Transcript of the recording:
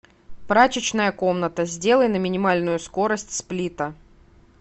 прачечная комната сделай на минимальную скорость сплита